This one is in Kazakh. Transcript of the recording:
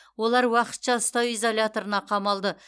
олар уақытша ұстау изоляторына қамалды